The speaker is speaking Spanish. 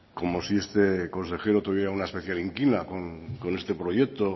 como si este consejero tuviera una especial inquina con este proyecto